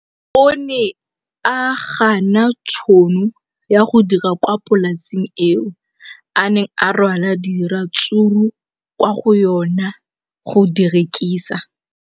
O ne a gana tšhono ya go dira kwa polaseng eo a neng rwala diratsuru kwa go yona go di rekisa.